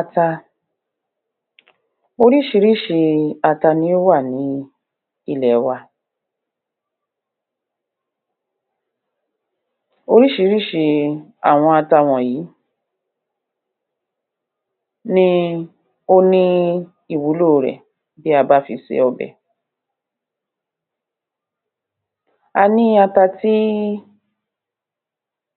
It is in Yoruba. Ata orís̩irís̩I ata ni ó wà ní ilè̩ wa orís̩irís̩I àwo̩n ata wò̩nyí ni ó ní ìwúlò rè bí a bá fi se o̩bè̩ a ní ata tí